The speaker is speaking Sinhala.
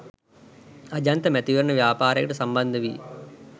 අජන්ත මැතිවරණ ව්‍යාපාරයකට සම්බන්ධ වී